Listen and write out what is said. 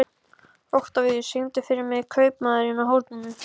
Oktavíus, syngdu fyrir mig „Kaupmaðurinn á horninu“.